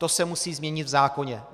To se musí změnit v zákoně.